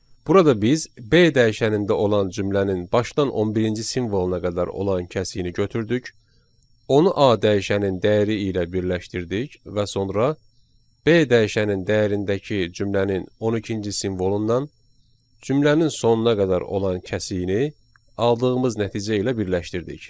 Burada biz B dəyişənində olan cümlənin başdan 11-ci simvoluna qədər olan kəsiyini götürdük, onu A dəyişənin dəyəri ilə birləşdirdik və sonra B dəyişənin dəyərindəki cümlənin 12-ci simvolundan cümlənin sonuna qədər olan kəsiyini aldığımız nəticə ilə birləşdirdik.